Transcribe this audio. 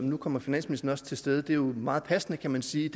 nu kommer finansministeren også til stede og det er jo meget passende kan man sige